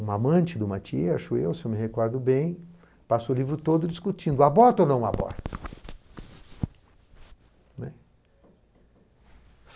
Um amante de uma tia, acho eu, se eu me recordo bem, passou o livro todo discutindo, aborta ou não aborta, né.